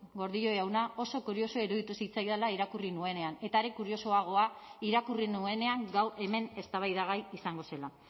gordillo jauna oso kuriosoa iruditu zitzaidala irakurri nuenean eta are kuriosoagoa irakurri nuenean gaur hemen eztabaidagai izango zela